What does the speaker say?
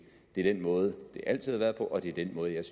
det er den måde det altid har været på og det er den måde jeg